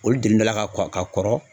Olu delila ka kɔ ka kɔrɔ